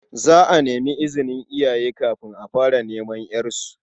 Za a nemi izinin iyaye kafin a fara neman ƴarsu.